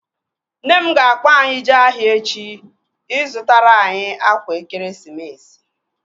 Nne m ga-akpọ anyị jee ahịa echi ị zụtara anyị akwa ekeresimesi